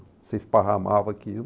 Você esparramava aquilo.